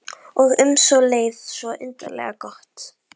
Og um leið svo undarlega gott.